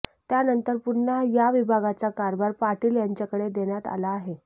त्यानंतर पुन्हा या विभागाचा कारभार पाटील यांच्याकडे देण्यात आला आहे